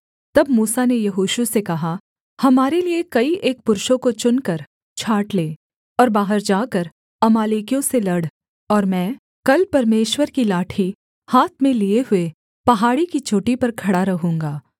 तब मूसा ने यहोशू से कहा हमारे लिये कई एक पुरुषों को चुनकर छाँट ले और बाहर जाकर अमालेकियों से लड़ और मैं कल परमेश्वर की लाठी हाथ में लिये हुए पहाड़ी की चोटी पर खड़ा रहूँगा